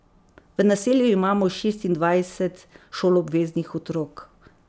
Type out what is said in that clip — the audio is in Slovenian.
V naselju imamo šestindvajset šoloobveznih otrok.